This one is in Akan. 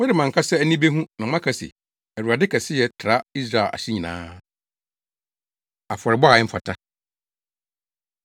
Mode mo ankasa ani behu na moaka se, ‘ Awurade kɛseyɛ tra Israel ahye nyinaa!’ Afɔrebɔ A Ɛmfata